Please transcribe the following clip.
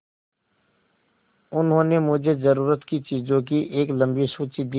उन्होंने मुझे ज़रूरत की चीज़ों की एक लम्बी सूची दी